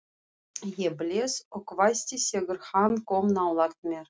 Ég blés og hvæsti þegar hann kom nálægt mér.